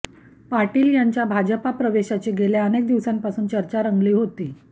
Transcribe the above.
पाटील यांच्या भाजपा प्रवेशाची गेल्या अनेक दिवसांपासून चर्चा रंगली होती